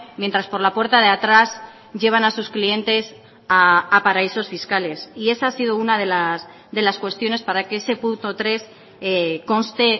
mientras por la puerta de atrás llevan a sus clientes a paraísos fiscales y esa ha sido una de las cuestiones para que ese punto tres conste